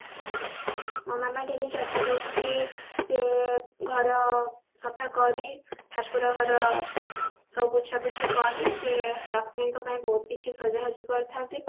ମୋ ମାମା daily ଚାରିଟା ରେ ଉଠି ସେ ଘର ସଫା କରି ଠାକୁର ଘର ସବୁ ପୋଛା ପୋଛି କରି ସେ ଲକ୍ଷ୍ମୀଙ୍କ ପାଇଁ ବହୁତ କିଛି ସଜାସଜି କରିଥାନ୍ତି